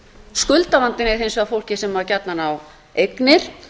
skuldavandinn er hins vegar fólkið sem gjarnan á eignir